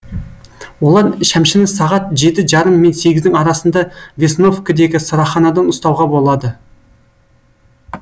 олар шәмшіні сағат жеті жарым мен сегіздің арасында весновкідегі сыраханадан ұстауға болады